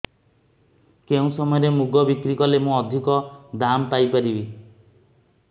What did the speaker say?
କେଉଁ ସମୟରେ ମୁଗ ବିକ୍ରି କଲେ ମୁଁ ଅଧିକ ଦାମ୍ ପାଇ ପାରିବି